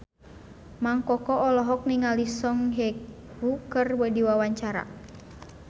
Mang Koko olohok ningali Song Hye Kyo keur diwawancara